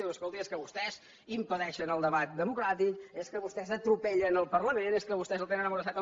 diu escolti es que vostès impedeixen el debat democràtic és que vostès atropellen el parlament és que vostès el tenen emmordassat